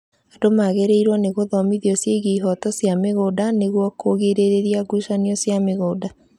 Andũ nĩmagrĩirwo nĩ gũthomithio ciĩgiĩ ihoto cia mĩgũnda nĩguo kũgirĩrĩria ngucanio cia mĩgũnda